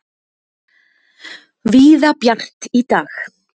Víða bjart í dag